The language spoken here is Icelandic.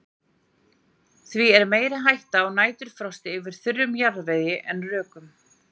Því er meiri hætta á næturfrosti yfir þurrum jarðvegi en rökum.